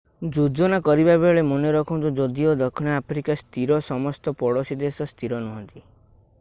ଯୋଜନା କରିବାବେଳେ ମନେ ରଖନ୍ତୁ ଯଦିଓ ଦକ୍ଷିଣ ଆଫ୍ରିକା ସ୍ଥିର ସମସ୍ତ ପଡୋଶୀ ଦେଶ ସ୍ଥିର ନୁହନ୍ତି